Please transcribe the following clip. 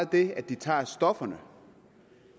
det at de tager stofferne